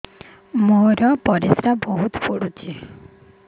ମୋର ପରିସ୍ରା ବହୁତ ପୁଡୁଚି